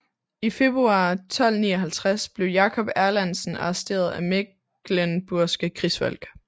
I februar 1259 blev Jakob Erlandsen arresteret af mecklenburgske krigsfolk